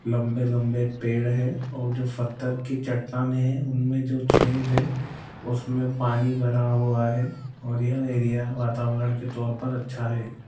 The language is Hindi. लंबे लंबे पेड़ हैं और जो फततर कि चट्टानें हैं उनमें जो छेद हैं उसमें पानी भरा हुआ है और यह एरिया वातावरण के तौर पर अच्छा है।